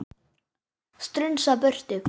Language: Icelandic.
Strunsa burtu.